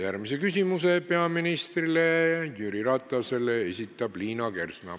Järgmise küsimuse peaminister Jüri Ratasele esitab Liina Kersna.